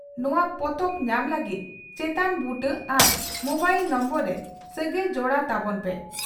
ᱱᱚᱣᱟ ᱯᱚᱛᱚᱵ ᱧᱟᱢ ᱞᱟᱹᱜᱤᱫ ᱪᱮᱛᱟᱱ ᱵᱩᱴᱟᱹ ᱟᱨ ᱢᱚᱵᱟᱭᱤᱞ ᱱᱚᱢᱵᱚᱨ ᱨᱮ ᱥᱟᱹᱜᱟᱹᱭ ᱡᱚᱲᱟᱣ ᱛᱟᱵᱚᱱ ᱯᱮ ᱾